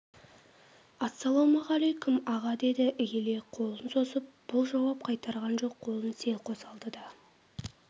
ассалаумағалейкүм аға деді иіле қолын созып бұл жауап қайтарған жоқ қолын селқос алды да